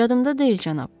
Yadımda deyil, cənab.